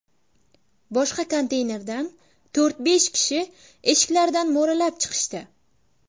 Boshqa konteynerdan to‘rt-besh kishi eshiklaridan mo‘ralab chiqishdi.